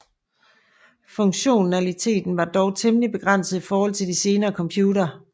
Funktionaliteten var dog temmelig begrænset i forhold til de senere computere